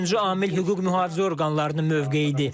Üçüncü amil hüquq-mühafizə orqanlarının mövqeyidir.